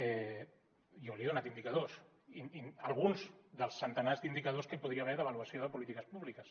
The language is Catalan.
jo li he donat indicadors i alguns dels centenars d’indicadors que hi podria haver d’avaluació de polítiques públiques